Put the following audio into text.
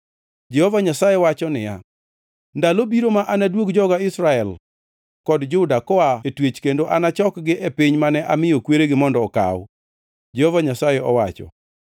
Jehova Nyasaye wacho niya, ‘Ndalo biro ma anaduog joga Israel kod Juda koa e twech kendo achokgi e piny mane amiyo kweregi mondo okaw,’ Jehova Nyasaye owacho.”